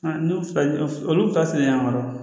n'u fila olu taa sɛnɛ an kɔrɔ